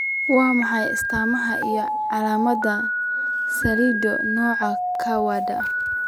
Waa maxay astaamaha iyo calaamadaha Sialidosis nooca kowaad?